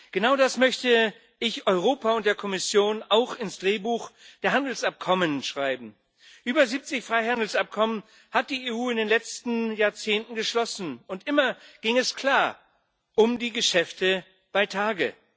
Genau das möchte ich Europa und der Kommission auch ins Drehbuch der Handelsabkommen schreiben. Über 70 Freihandelsabkommen hat die EU in den letzten Jahrzehnten geschlossen und immer ging es klar um die Geschäfte bei Tage.